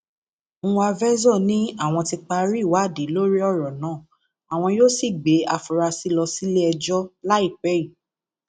nwávezor ní àwọn ti parí ìwádìí lórí ọrọ náà àwọn yóò sì gbé àfúrásì lọ síléẹjọ láìpẹ yìí